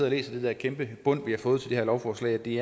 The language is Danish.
og læser det her kæmpe bundt vi har fået til det her lovforslag at det